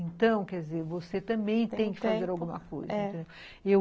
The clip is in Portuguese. Então, quer dizer, você também tem que fazer alguma coisa, entendeu? é.